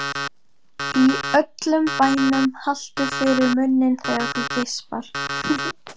Í öllum bænum haltu fyrir munninn þegar þú geispar.